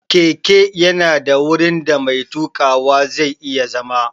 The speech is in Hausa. Keke ya na da wurin da mai tuƙawa zai iya zama